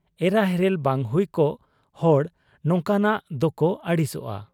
ᱮᱨᱟ ᱦᱮᱨᱮᱞ ᱵᱟᱝ ᱦᱩᱭ ᱠᱚᱜ ᱦᱚᱲ ᱱᱚᱝᱠᱟᱱᱟᱜ ᱫᱚᱠᱚ ᱟᱹᱲᱤᱥᱟᱜ ᱟ ᱾